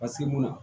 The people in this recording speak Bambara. Paseke mun na